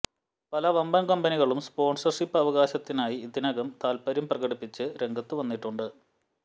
പല വമ്പന് കമ്പനികളും സ്പോണ്സര്ഷിപ്പ് അവകാശത്തിനായി ഇതിനകം താല്പ്പര്യം പ്രകടിപ്പിച്ച് രംഗത്തു വന്നിട്ടുണ്ട്